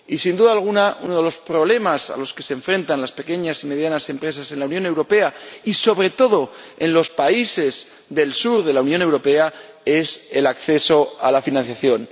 Y, sin duda alguna, uno de los problemas a los que se enfrentan las pequeñas y medianas empresas en la Unión Europea y, sobre todo, en los países del sur de la Unión Europea, es el acceso a la financiación